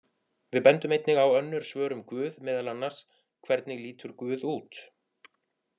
Við bendum einnig á önnur svör um guð, meðal annars: Hvernig lítur guð út?